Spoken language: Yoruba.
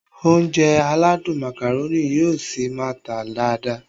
Ounjẹ aládùn Macaroni yóò ṣi máá tà dáadáa